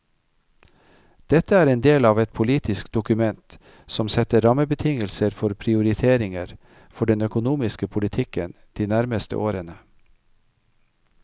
Dette er en del av et politisk dokument som setter rammebetingelser for prioriteringer for den økonomiske politikken de nærmeste årene.